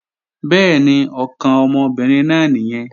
Bẹ́ẹ̀ni, ọkàn ọmọbìnrin náà nìyẹn